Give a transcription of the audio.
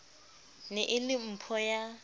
ne e le mpho ya